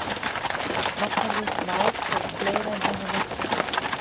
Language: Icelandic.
Nafnorðið mál hefur fleiri en eina merkingu.